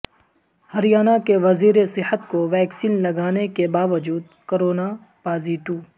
ہر یانہ کے وزیر صحت کو ویکسین لگا نے کے باوجود کورونا پازیٹو